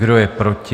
Kdo je proti?